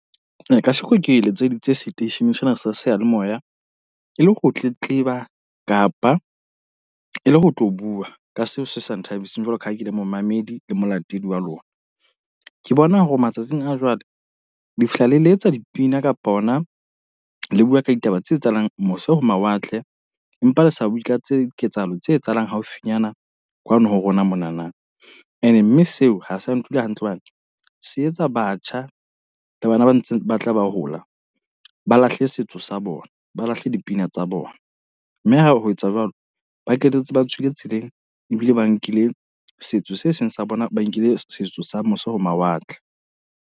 Ka sheko ke letseditse seteishene sena sa seyalemoya. E le ho tletleba kapa e le ho tlo bua ka seo se sa nthabiseng jwalo ka ha ke le momamedi le molatedi wa lona. Ke bona hore matsatsing a jwale, le fihla le letsa dipina kapa hona le bua ka ditaba tse etsahalang mose ho mawatle. Empa le sa bui ka tse ketsahalo tse etsahalang haufinyana kwano ho rona monana. E ne mme seo, ha sa ntula hantle hobane se etsa batjha le bana ba ntse ba tla ba hola, ba lahle setso sa bona, ba lahle dipina tsa bona. Mme ha ho etsa jwalo, ba qetetse ba tswile tseleng ebile ba nkile setso se seng sa bona. Ba nkile setso sa mose ho mawatle.